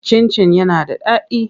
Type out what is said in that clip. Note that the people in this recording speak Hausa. Cin-cin yana da daɗi.